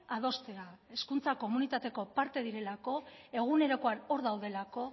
adostea hezkuntza komunitateko parte direlako egunerokoan hor daudelako